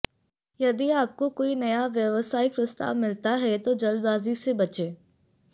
यदि आपको कोई नया व्यवसायिक प्रस्ताव मिलता है तो जल्दबाजी से बचें